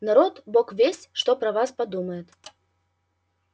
народ бог весть что про вас подумает